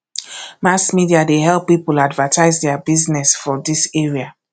mass media dey help pipo advertise their business for dis area